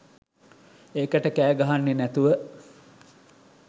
ඒකට කෑ ගහන්නෙ නැතුව.